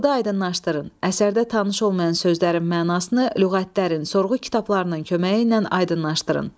Oxuyub aydınlaşdırın, əsərdə tanış olmayan sözlərin mənasını lüğətdən, sorğu kitablarının köməyi ilə aydınlaşdırın.